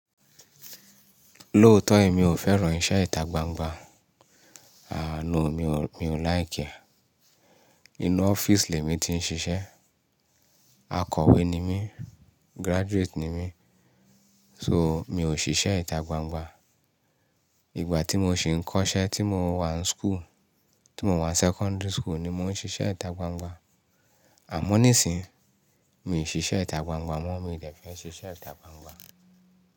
Lóótọ́ èmi ò fẹ́ràn iṣẹ́ ìta gbangba. Àá no, mi ò, mi ò like e. Inú ọ́fíìsì lẹ mí ti ń ṣiṣẹ́. Akọ̀wé ni mí, graduate ni mí. So, mi ò ṣiṣẹ́ ìta gbangba. Ìgbà tí mo sì ń kọ́ṣẹ́, tí mo wà ń school, tí mo wà ńi secondary school ni mo ń ṣiṣẹ́ ìta gbangba. Àmọ́ nísìíyi, mi i ṣiṣẹ́ ìta gbangba mọ́, mi dẹ́fẹ́ ṣiṣẹ́ ìta gbangba.